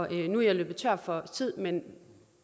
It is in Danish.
jeg løbet tør for tid men